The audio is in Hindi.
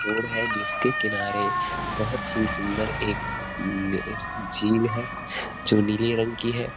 और है जिसेके किनारे बहौत ही सुंदर एक नहर झील हैं जो नीली रंग की है।